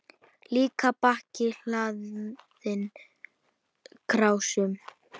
Líka bakka hlaðinn krásum.